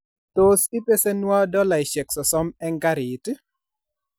Tos ipesenwo dolaishek sosom eng garit